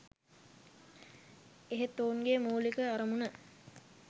එහෙත් ඔවුන්ගේ මුලික අරමුණ